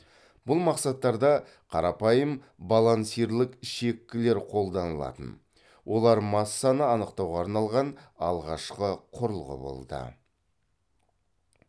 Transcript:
бұл мақсаттарда қарапайым балансирлік шеккілер қолданылатын олар массаны анықтауға арналған алғашқы құрылғы болды